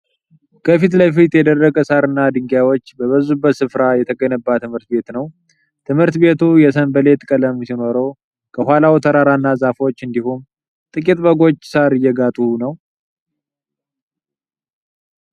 ከፊት ለፊቱ የደረቀ ሳርና ድንጋዮች በበዙበት ስፍራ የተገነባ ትምህርት ቤት ነው። ትምህርት ቤቱ የሰንበሌጥ ቀለም ሲኖረው፣ ከኋላው ተራራና ዛፎች እንዲሁም ጥቂት በጎች ሳር እየጋጡ ነው።